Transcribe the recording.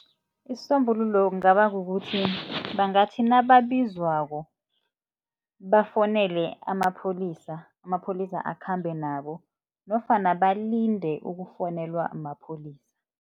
Isisombululo kungaba kukuthi, bangathi nababizwako bafonele amapholisa, amapholisa akhambe nabo nofana balinde ukufonelwa mapholisa.